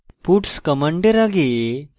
puts command আগে